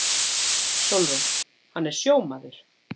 SÓLRÚN: Hann er sjómaður.